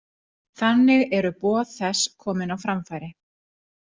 Þannig eru boð þess komin á framfæri.